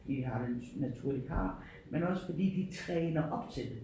De har den natur de har men også fordi de træner op til det